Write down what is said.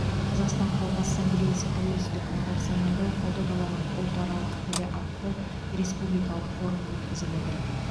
қазақстан халқы ассамблеясы тәуелсіздік күні қарсаңында ұлы даланың ұлтаралық тілі атты республикалық форум өткізіп отыр